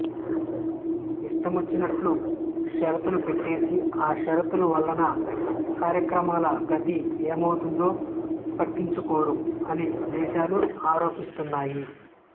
ఇష్టమొచ్చినట్లు షరతులు పెట్టేసి ఆ షరతుల వలన కార్యక్రమాల గతి ఏమౌతోందో పట్టించుకోరు అని దేశాలు ఆరోపిస్తున్నాయి